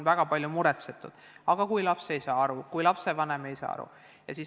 Väga palju on muretsetud, et kui laps ei saa aru või kui lapsevanem ei saa aru, mis siis saab.